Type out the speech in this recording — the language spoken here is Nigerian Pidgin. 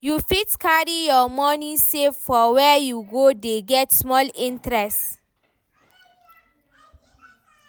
You fit carry your money save for where you go dey get small small interest